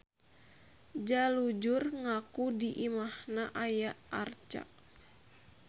Jalujur ngaku di imahna aya arca.